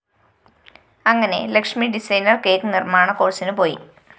അങ്ങനെ Lakshmi designer cake നിര്‍മ്മാണ കോഴ്സിന് പോയി